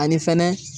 Ani fɛnɛ